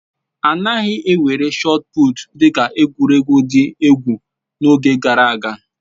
A naghị ewere shọọt pụụtu dị ka egwuregwu dị egwu n'oge gara aga